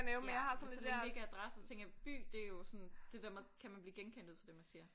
Ja men så længe det ikke er adresse så tænker jeg by det jo sådan det der med kan man blive genkendt ud fra det man siger